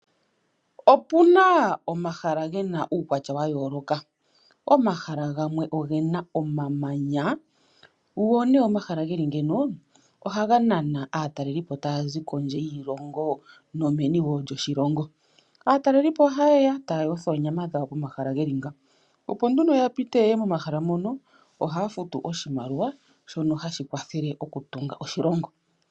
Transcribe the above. Opu na omahala ge na uukwatya wa yooloka. Omahala gamwe oge na omamanya go nduno omahala ge li ngiino ohaga nana aatalelipo taya zi kondje yiilongo nomeni wo lyoshilongo. Aatalelipo ohaye ya e taya yotha oonyama dhawo pomahala ge li ngaaka. Opo nduno ya pite ye ye momahala moka ohaya futu oshimaliwa, shoka hashi kwathele okutunga oshilongo.